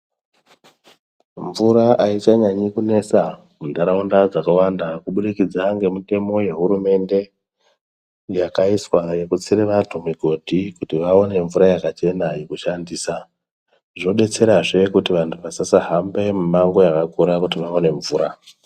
Mvura aichanyanyi kunesa muntaraunda dzakawanda kubudikidza nemitemo yehurumende yakaiswa yekutsire vantu migodhi kuti vaone mvura yakachena yokushandisa zvodetserazve kuti vantu vasasahambe mimango yakakura kuti vaone mvura.